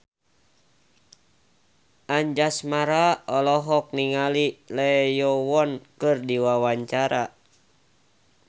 Anjasmara olohok ningali Lee Yo Won keur diwawancara